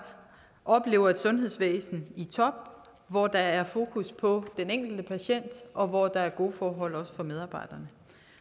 oplever et sundhedsvæsen i top hvor der er fokus på den enkelte patient og hvor der også er gode forhold for medarbejderne